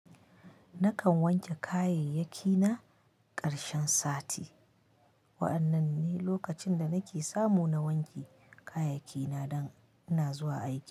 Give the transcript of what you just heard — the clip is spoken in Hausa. Nakan wanke kayayyaki na ƙarshen sati. Wa'annan ne lokacin da nake samu na wanke kayayyaki na dan ina zuwa aiki.